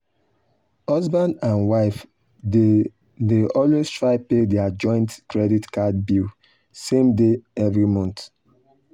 husband and wife dey dey always try pay their joint credit card bill same day every month.